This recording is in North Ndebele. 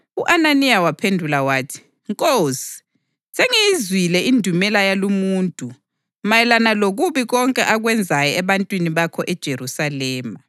U-Ananiya waphendula wathi, “Nkosi sengiyizwile indumela yalumuntu mayelana lokubi konke akwenzayo ebantwini bakho eJerusalema.